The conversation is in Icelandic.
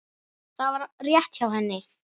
Það var rétt hjá henni.